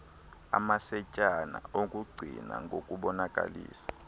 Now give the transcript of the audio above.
amacetyana okungqina ngokubonakalisa